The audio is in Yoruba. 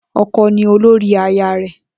O̩ko̩ ni olórí aya rè̩